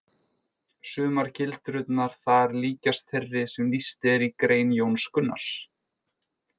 Sumar gildrurnar þar líkjast þeirri sem lýst er í grein Jóns Gunnars.